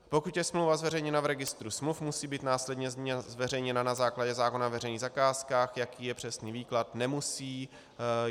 Pokud je smlouva zveřejněna v Registru smluv, musí být následně zveřejněna na základě zákona o veřejných zakázkách, jaký je přesný výklad, nemusí.